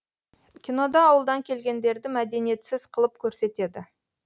кинода ауылдан келгендерді мәдениетсіз қылып көрсетеді